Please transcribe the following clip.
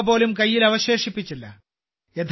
ഒരു രൂപപോലും കൈയിൽ അവശേഷിപ്പിച്ചില്ല